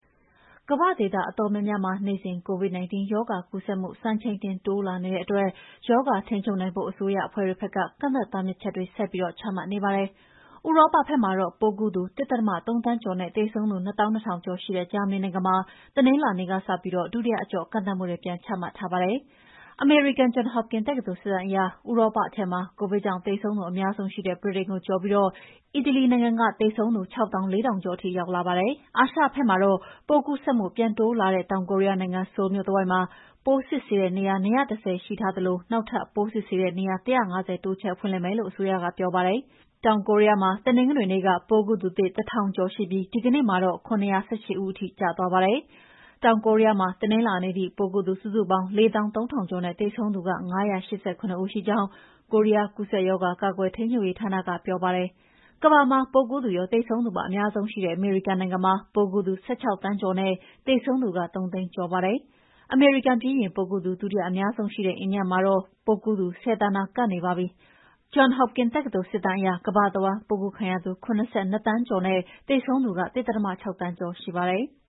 ကမ္ဘာ့ဒေသအတော်များများမှာ နေ့စဉ် COVID-19 ရောဂါကူးစက်မှု စံချိန်တင်တိုးလာနေတဲ့အတွက် ရောဂါထိန်းချုပ်နိုင်ဖို့ အစိုးရအဖွဲ့တွေဘက်က ကန့်သတ်တားမြစ်ချက်တွေဆက်ပြီးချမှတ်နေရပါတယ်။ ဥရောပဘက်မှာတော့ ပိုးကူးသူ ၁.၃ သန်းကျော်နဲ့ သေဆုံးသူ ၂၂,၀၀၀ ကျော်ရှိ ဂျာမဏီနိုင်ငံမှာ တနင်္လာနေ့ကစပြီး ဒုတိယအကျော့ ကန့်သတ်မှုတွေ ပြန်ချမှတ်ထားပါတယ်။ အမေရိကန် John Hopkins တက္ကသိုလ်စစ်တမ်းအရ ဥရောပထဲမှာ ကိုဗစ်ကြောင့်သေဆုံးသူအများဆုံးရှိတဲ့ ဗြိတိန်နိုင်ငံကိုကျော်ပြီး အီတလီနိုင်ငံက သေဆုံးသူ ၆၄,၀၀၀ ကျော်ထိရှိလာပါတယ်။ အာရှဘက်မှာတော့ ပိုးကူးစက်မှု ပြန်တိုးလာတဲ့ တောင်ကိုရီးယားနိုင်ငံ ဆိုးလ်မြို့တဝိုက်မှာ ပိုးစစ်ဆေးတဲ့နေရာ ၂၁၀ ရှိထားသလို နောက်ထပ်ပိုးစစ်ဆေးတဲ့နေရာ ၁၅၀ တိုးချဲ့ဖွင့်လှစ်မယ်လို့အစိုးရက ပြောပါတယ်။ တောင်ကိုရီးယားမှာ တနင်္ဂနွေနေ့က ပိုးကူးသူသစ် ၁,၀၀၀ ကျော်ရှိပြီး ဒီကနေ့မှာတော့ ၇၁၈ ဦးရှိပါတယ်။ တောင်ကိုရီးယားမှာ တနင်္လာနေ့ထိ ပိုးကူးသူစုစုပေါင်း ၄၃,၀၀၀ ကျော်နဲ့ သေဆုံးသူ ၅၈၇ ဦးရှိကြောင်း ကိုရီးယားကူးစက်ရောဂါ ကာကွယ်ထိန်းချုပ်ရေးဌာနကပြောပါတယ်။ ကမ္ဘာမှာ ပိုးကူးသူရော၊ သေဆုံးသူပါ အများဆုံးရှိတဲ့ အမေရိကန်နိုင်ငံမှာ ပိုးကူးသူ ၁၆ သန်းကျော်နဲ့ သေဆုံးသူက ၃၀၀,၀၀၀ ကျော်ပါပြီ။ အမေရိကန်ပြီးရင်ပိုးကူးသူ ဒုတိယအများဆုံးရှိတဲ့ အိန္ဒိယမှာတော့ ပိုးကူးသူ ၁၀ သန်းနား ကပ်နေပါပြီ။ အမေရိကန် John Hopkins တက္ကသိုလ်စစ်တမ်းအရ ကမ္ဘာတဝန်း ပိုးကူးခံရသူ ၇၂ သန်းကျော်နဲ့ သေဆုံးသူ ၁.၆ သန်းကျော်ရှိပါတယ်။